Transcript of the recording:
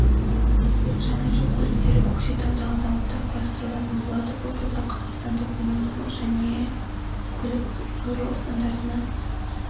жаңа жүк көліктері көкшетаудағы зауытта құрастырылатын болады бұл таза қазақстандық өнім болмақ жаңа көлік еуро стандартына